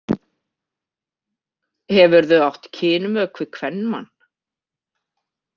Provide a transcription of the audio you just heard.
Hefurðu átt kynmök við kvenmann?